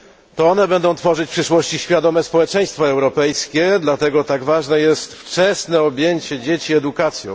To one będą tworzyć w przyszłości świadome społeczeństwo europejskie, dlatego tak ważne jest wczesne objęcie dzieci edukacją.